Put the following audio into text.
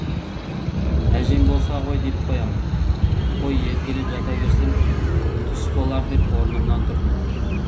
әжем болса ғой деп қоямын қой еркелеп жата берсем түс болар деп орнымнан тұрдым